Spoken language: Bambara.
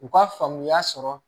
U ka faamuya sɔrɔ